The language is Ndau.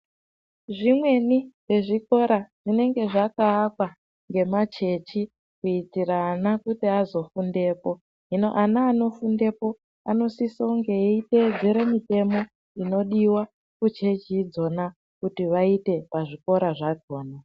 Zvimweni zvezvikora zvinenge zvakaakwa ngemachechi kuitira ana kuti azofundepo .Hino ana anozofundepo anosiso kuteedzera mitemo inodiwa kuchechi idzona kuti vaite pazvikora zvakona .